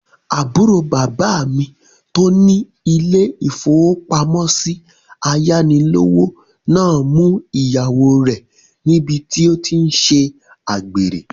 Àbúrò bàbá mi tó ní ilé-ìfowópamọ́sí ayánilówó náà mú ìyàwó rẹ̀ níbi tí ó tí n ṣe àgbèrè